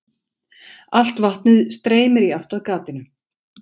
Allt vatnið streymir í átt að gatinu.